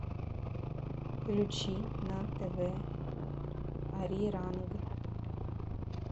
включи на тв ариранг